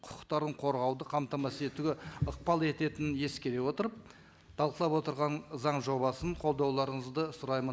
құқықтарын қорғауды қамтамасыз етуге ықпал ететінін ескере отырып талқылап отырған заң жобасын қолдауларыңызды сұраймын